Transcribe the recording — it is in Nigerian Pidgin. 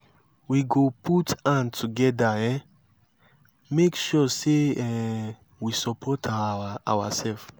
we go put hand together um make sure sey um we support oursef.